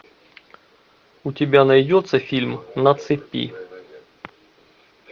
у тебя найдется фильм на цепи